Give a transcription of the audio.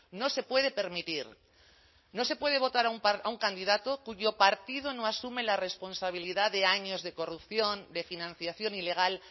no se puede permitir no se puede votar a un candidato cuyo partido no asume la responsabilidad de años de corrupción de financiación ilegal